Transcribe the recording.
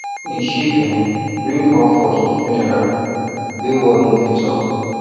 him um sheep um bring comfort for funeral wey word no fit talk